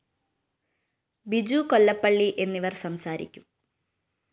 ബിജു കൊല്ലപ്പള്ളി എന്നിവര്‍ സംസാരിക്കും